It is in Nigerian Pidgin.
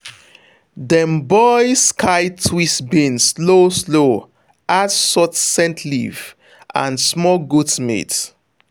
dem boil sky twist beans slow slow add salt scent leaf and small goat meat.